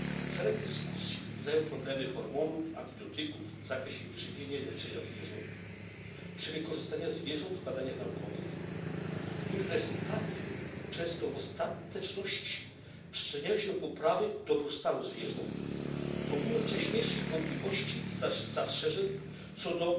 Szereg dyskusji wzbudzają problemy hormonów, antybiotyków w zakresie wyżywienia i leczenia zwierząt czy wykorzystania zwierząt w badaniach naukowych, których rezultaty często w ostateczności przyczyniają się do poprawy dobrostanu zwierząt, pomimo wcześniejszych wątpliwości i zastrzeżeń co do